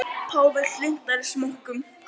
Páfi hlynntari smokkum